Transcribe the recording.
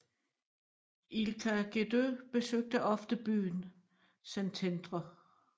Ilka Gedő besøgte ofte byen Szentendre